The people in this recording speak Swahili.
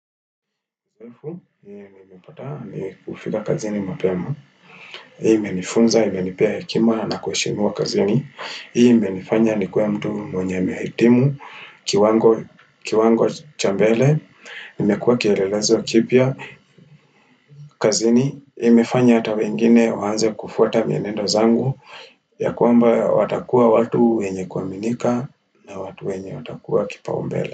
Ufu, mimi nimepataa ni kufika kazini mapema. Hii imenifunza, imenipea hekima na nakuheshimiwa kazini. Hii imenifanya ni kuwe mtu mwenye amehitimu, kiwango chambele. Nimekuwa kielelezo kipya. Kazini, hii imefanya hata wengine waanze kufuata mienendo zangu. Ya kwamba watakuwa watu wenye kuaminika na watu wenye watakuwa kipaumbele.